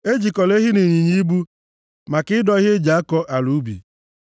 Ejikọla ehi na ịnyịnya ibu maka ịdọ ihe e ji akọ ala ubi.